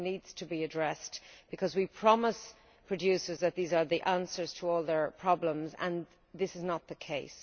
This needs to be addressed, because we promised producers that these provisions would be the answer to all their problems, and that is not the case.